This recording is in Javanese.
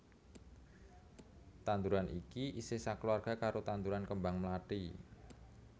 Tanduran iki isih sakeluwarga karo tanduran kembang mlathi